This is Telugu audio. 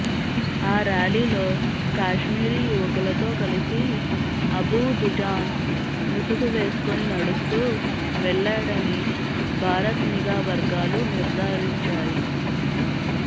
ఆ ర్యాలీలో కాశ్మీరీ యువకులతో కలిసి అబూ దుజాన్ ముసుగు వేసుకుని నడుస్తూ వెళ్లాడని భారత్ నిఘా వర్గాలు నిర్దారించాయి